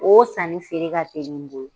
Oo san ni feere ka telin.